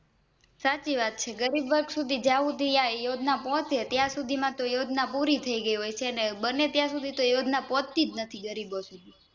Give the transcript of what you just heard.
સાચી વાત છે ગરીબવર્ગસુધી આ યોજના પોહચે ત્યાર સુધી માંતો યોજના પૂરી થઈ ગઈ હોય છે અને બને ત્યાર સુધી યોજના ત્યાં પોહ્ચતી જ નથી ગરીબો સુધી